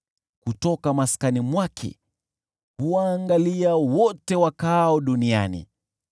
kutoka maskani mwake huwaangalia wote wakaao duniani: